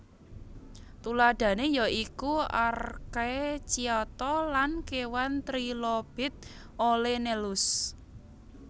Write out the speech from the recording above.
Tuladhané ya iku archaecyata lan kéwan Trilobit Olenellus